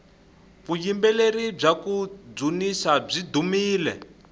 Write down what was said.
vuyimbeleri bya kudzunisa byi dumile